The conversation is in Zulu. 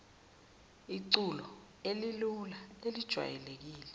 iculo elilula elijwayelekile